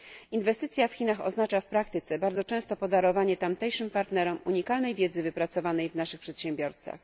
Inwestycja w Chinach oznacza w praktyce bardzo często podarowanie tamtejszym partnerom unikalnej wiedzy wypracowanej w naszych przedsiębiorstwach.